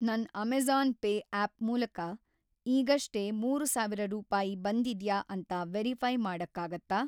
ನನ್‌ Amazon pay app ಮೂಲ್ಕ ಈಗಷ್ಟೇ ಮೂರು ಸಾವಿರ ರೂಪಾಯಿ ಬಂದಿದ್ಯಾ ಅಂತ ವೆರಿಫೈ಼ ಮಾಡಕ್ಕಾಗತ್ತಾ?